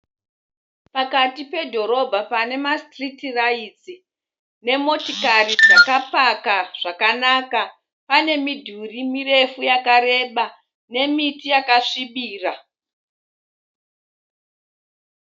Pakati pedhorobha pane masitiriti raitsi nemotokari dzakapaka zvakanaka. Pane midhuri mirefu yakareba nemiti yakasvibira.